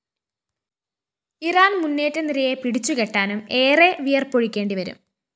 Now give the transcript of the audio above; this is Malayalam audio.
ഇറാന്‍ മുന്നേറ്റനിരയെ പിടിച്ചുകെട്ടാനും ഏറെ വിയര്‍പ്പൊഴുക്കേണ്ടിവരും